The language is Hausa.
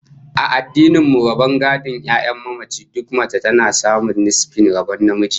A addinin mu, rabon gadon 'ya'yan mamaci, duk mace tana samun nisfin rabon namiji